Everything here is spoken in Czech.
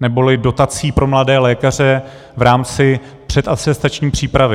neboli dotací pro mladé lékaře v rámci předatestační přípravy.